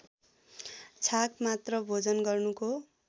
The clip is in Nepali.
छाक मात्र भोजन गर्नुको